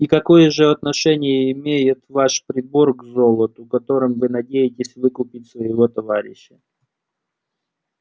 и какое же отношение имеет ваш прибор к золоту которым вы надеетесь выкупить своего товарища